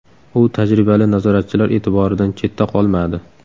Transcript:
U tajribali nazoratchilar e’tiboridan chetda qolmadi.